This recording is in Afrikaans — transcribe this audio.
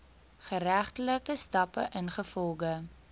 geregtelike stappe ingevolge